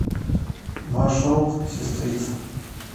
маршрут сестрица